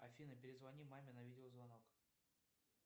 афина перезвони маме на видеозвонок